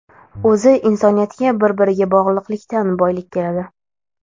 O‘zi insoniyatga bir-biriga bog‘liqlikdan boylik keladi.